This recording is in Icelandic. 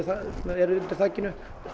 er undir þakinu